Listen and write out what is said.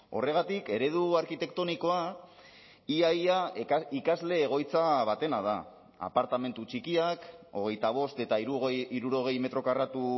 horregatik eredu arkitektonikoa ia ia ikasle egoitza batena da apartamentu txikiak hogeita bost eta hirurogei metro karratu